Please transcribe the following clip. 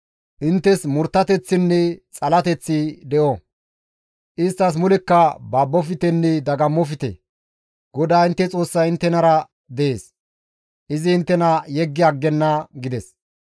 Inttes murttateththinne xalateththi de7o; isttas mulekka babboftenne dagammofte; GODAA intte Xoossay inttenara dees; izi inttena yeggi aggenna» gides.